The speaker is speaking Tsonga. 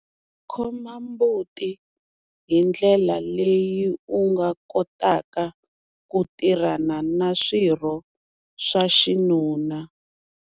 Khoma mbuti hi ndlela leyi u nga kotaka ku tirhana na swirho swa xinuna.